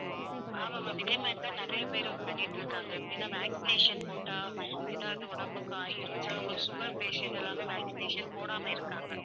ஆமா ma'am இதே மாதிரிதான் நிறைய பேரும் பண்ணிட்டு இருக்காங்க ஏன்னா vaccination போட்டா ஏதாவது உடம்புக்கு ஆகிரும். சிலவங்களுக்கு sugar patient எல்லாமே vaccination போடாம இருக்காங்க.